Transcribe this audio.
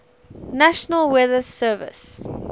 national weather service